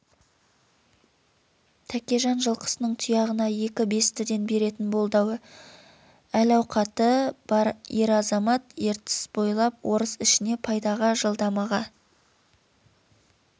тәкежан жылқысының тұяғына екі бестіден беретін болды әл-ауқаты бар ер-азамат ертіс бойлап орыс ішіне пайдаға жалдамаға